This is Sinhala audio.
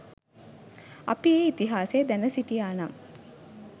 අපි ඒ ඉතිහාසය දැන සිටියා නම්